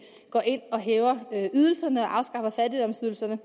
går ind og hæver ydelserne og afskaffer fattigdomsydelserne